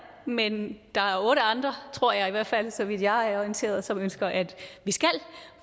men der er otte andre tror jeg i hvert fald så vidt jeg er orienteret som ønsker at vi skal